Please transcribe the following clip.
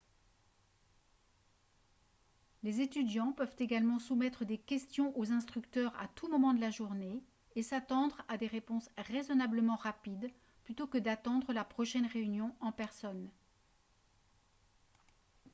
les étudiants peuvent également soumettre des questions aux instructeurs à tout moment de la journée et s'attendre à des réponses raisonnablement rapides plutôt que d'attendre la prochaine réunion en personne